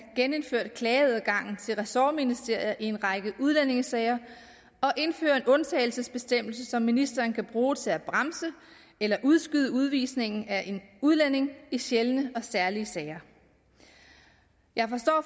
genindført klageadgangen til ressortministerier i en række udlændingesager og indført en undtagelsesbestemmelse som ministeren kan bruge til at bremse eller udskyde udvisning af en udlænding med i sjældne og særlige sager jeg forstår